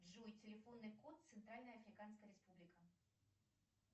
джой телефонный код центральная африканская республика